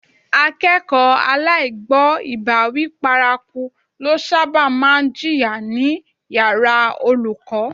Akẹ́kọ̀ọ́ aláìgbọ́bàwíí paraku ló sábà máa ń jìyà ní yàrá olùkọ́